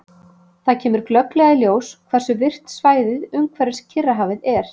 Þar kemur glögglega í ljós hversu virkt svæðið umhverfis Kyrrahafið er.